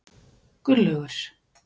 Gunnlaugur